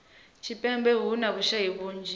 tshipembe hu na vhushayi vhunzhi